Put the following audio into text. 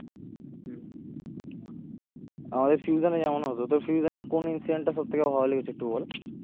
আমাদের ফিউশনে যেমন হত তোর ফিউশনের কোন incident টা সব থেকে ভালো লেগেছে একটু বল?